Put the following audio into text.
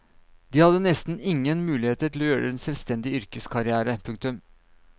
De hadde nesten ingen muligheter til å gjøre en selvstendig yrkeskarriere. punktum